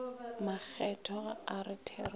makgethwa ga a re therešo